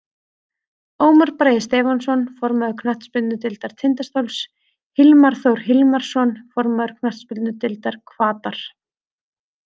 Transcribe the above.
Ómar Bragi Stefánsson, formaður knattspyrnudeildar Tindastóls Hilmar Þór Hilmarsson, formaður knattspyrnudeildar Hvatar.